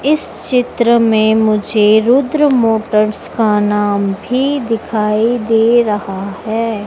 इस चित्र में मुझे रुद्र मोटर्स का नाम भी दिखाई दे रहा है।